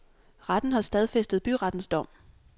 Retten har stadfæstet byrettens dom.